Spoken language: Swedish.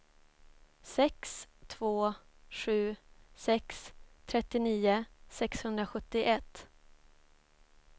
sex två sju sex trettionio sexhundrasjuttioett